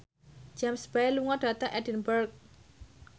James Bay lunga dhateng Edinburgh